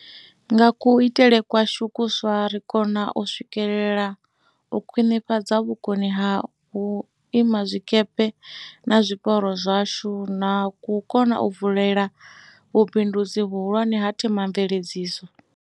Nga kha kuitele kwashu kuswa ri khou kona u swikelela u khwiṋifhadza vhukoni ha vhuima zwikepe na zwiporo zwashu, na u kona u vulela vhubindudzi vhuhulwane ha the mamveledziso.